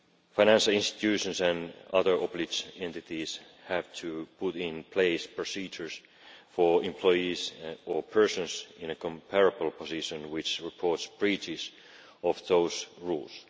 Financial institutions and other entities have to put in place procedures for employees or persons in a comparable position who report breaches of those rules.